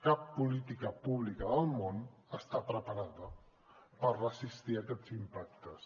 cap política pública del món està preparada per resistir aquests impactes